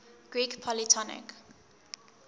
greek polytonic